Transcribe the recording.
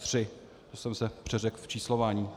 To jsem se přeřekl v číslování.